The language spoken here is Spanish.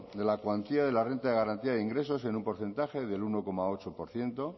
de la cuantía de la renta de garantía de ingresos en un porcentaje del uno coma ocho por ciento